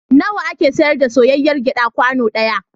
Nawa ake sayar da soyayyr gyaɗa kwano ɗaya?